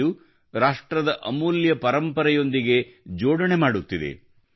ಇದು ರಾಷ್ಟ್ರದ ಅಮೂಲ್ಯ ಪರಂಪರೆಗೆ ಸೇರ್ಪಡೆಯಾಗುತ್ತಿದೆ